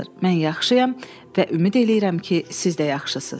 Mən yaxşıyam və ümid eləyirəm ki, siz də yaxşısınız.